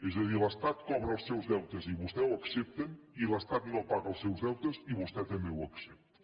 és a dir l’estat cobra els seus deutes i vostès ho accep ten i l’estat no paga els seus deutes i vostè també ho ac cepta